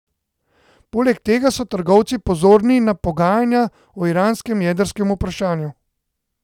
Poleg tega so trgovci pozorni na pogajanja o iranskem jedrskem vprašanju.